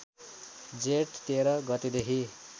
जेठ १३ गतेदेखि